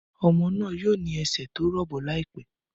Ọmọ náà yóò ní ẹsẹ̀ tó rọ̀bọ̀ láìpẹ́